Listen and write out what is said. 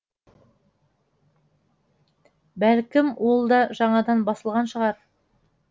бәлкім ол да жаңадан басылған шығар